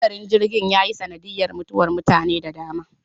Hadarin jirgin ya yi sanadiyar mutuwar mutane da dama.